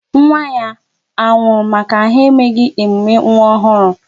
Nwa ya anwụrụ maka na ha emeghị emume nwa ọhụrụ?